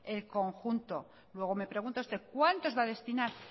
el conjunto luego me pregunta usted cuántos va a destinar